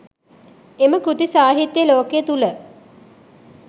එම කෘති සාහිත්‍ය ලෝකය තුළ